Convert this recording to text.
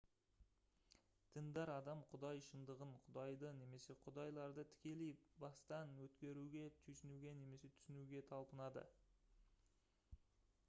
діндар адам құдай шындығын/құдайды немесе құдайларды тікелей бастан өткеруге түйсінуге немесе түсінуге талпынады